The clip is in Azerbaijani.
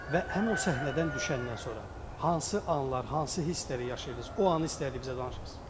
Və həmin o səhnədən düşəndən sonra hansı anlar, hansı hissləri yaşayırdınız, o anı istədiyiniz bizə danışırsız.